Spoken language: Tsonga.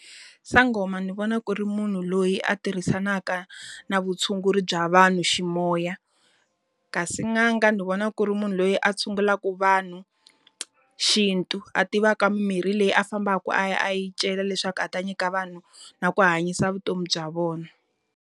Sangoma ni vona ku ri munhu loyi a tirhisaka na vutshunguri bya vanhu xi moya. Kasi n'anga ndzi vona ku ri munhu loyi a tshungulaka vanhu xintu, a tivaka mimirhi leyi a fambaka a ya a ya yi cela leswaku a ta nyika vanhu na ku hanyisa vutomi bya vona.